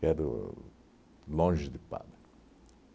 Quero longe de Padre.